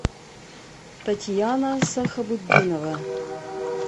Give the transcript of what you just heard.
татьяна сахабутдинова